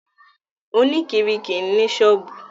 Oníkiiri kìí ní ṣọ́ọ̀bù.